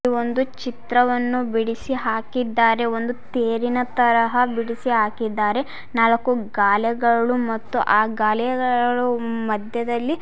ಒಂದು ಚಿತ್ರವನ್ನು ಬಿಡಿಸಿ ಹಾಕಿದ್ದಾರೆ ಒಂದು ತೇರಿನ ತರಹ ಬಿಡಿಸಿ ಹಾಕಿದ್ದಾರೆ ನಾಲ್ಕು ಗಾಲೆಗಳು ಮತ್ತು ಆ ಗಾಲೆಗಗಳು ಮಧ್ಯದಲ್ಲಿ--